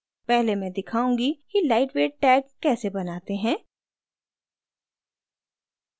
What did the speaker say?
पहले मैं दिखाऊंगी कि lightweight tag कैसे बनाते हैं